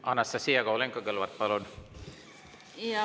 Anastassia Kovalenko-Kõlvart, palun!